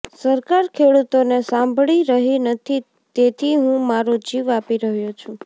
સરકાર ખેડૂતોને સાંભળી રહી નથી તેથી હું મારો જીવ આપી રહ્યો છું